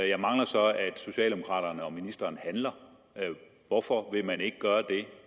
jeg mangler så at socialdemokraterne og ministeren handler hvorfor vil man ikke gøre det